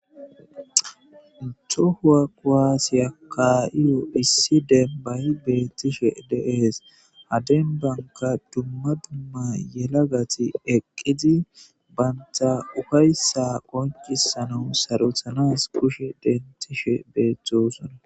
tohuwa koaasiya kaa7iyo issi denbay beettishe deehees haden banka dumma dumma yelagati eqqizi banta ufayssa qoncisana sarothanas kushe dentishe beeththosona